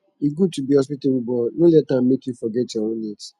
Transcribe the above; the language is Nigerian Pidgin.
e good to be hospitable but no let am make you forget your own needs